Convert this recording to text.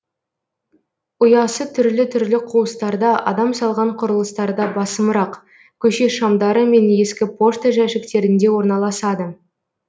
ұясы түрлі түрлі қуыстарда адам салған құрылыстарда басымырақ көше шамдары мен ескі пошта жәшіктерінде орналасады